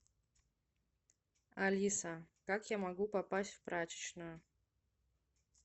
алиса как я могу попасть в прачечную